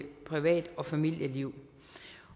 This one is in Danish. privat og familieliv